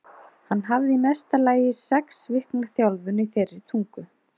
Hann hafði í mesta lagi sex vikna þjálfun í þeirri tungu.